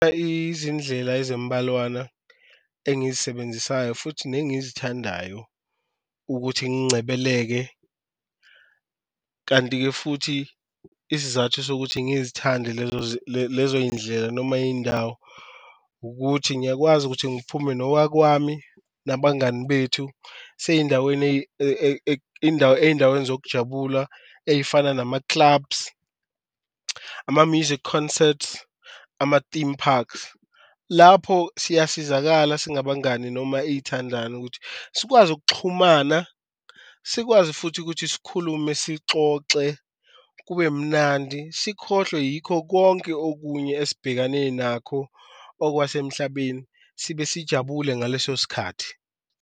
Izindlela ezimbalwana engizisebenzisayo futhi nengizithandayo ukuthi ngincebeleke kanti-ke futhi isizathu sokuthi ngizithande lezo yindlela noma iyindawo, ukuthi ngiyakwazi ukuthi ngiphume nowakwami nabangani bethu. Siye eyindaweni eyindaweni zokujabula ey'fana nama-clubs, ama-music concerts, ama-theme parks lapho siyasizakala singabangani noma iyithandani ukuthi sikwazi ukuxhumana, sikwazi futhi ukuthi sikhulume sixoxe kube mnandi sikhohlwe yikho konke okunye esibhekane nakho okwasemhlabeni, sibe sijabule ngaleso sikhathi.